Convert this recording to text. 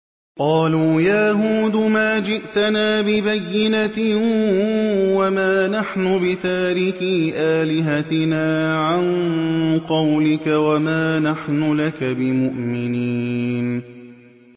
قَالُوا يَا هُودُ مَا جِئْتَنَا بِبَيِّنَةٍ وَمَا نَحْنُ بِتَارِكِي آلِهَتِنَا عَن قَوْلِكَ وَمَا نَحْنُ لَكَ بِمُؤْمِنِينَ